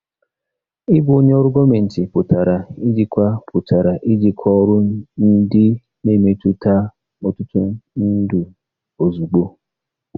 Ịbụ onye ọrụ gọọmentị pụtara ijikwa pụtara ijikwa ọrụ ndị na-emetụta ọtụtụ ndụ ozugbo.